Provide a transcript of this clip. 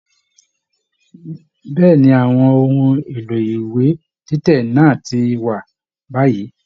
Bẹ̀ẹ́ni, àwọn ohùn èlò ìwé títẹ̀ náà ti wà báyìí.